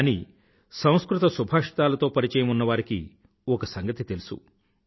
కానీ సంస్కృత సుభాషితాలతో పరిచయం ఉన్నవారికి ఒక సంగతి తెలుసు